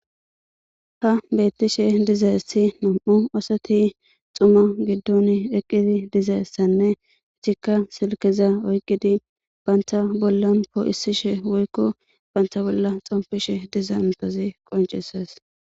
ha bettishe dizayssi nam7u oosoti xuma giddun eqqidi diza essanne ichikka silkeza oyqidi baynta bollan poo7isishe woykko baynta bolla xompishe diza mitozi qoncises